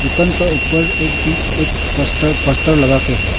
दुकान का ऊपर एक पी एक पस्तर पस्तर लगा के है।